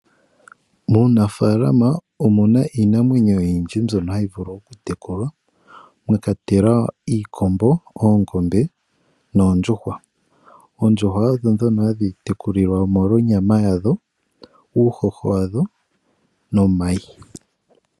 Muunafalama omuna Iinamwenyo oyindji mbyono hayivulu okutekulwa mwakwatelwa iikombo, oongombe noondjuhwa. oondjuhwa odho dhono hadhitekulilwa molwa onyama yadho, uuhoho wadho nomayi.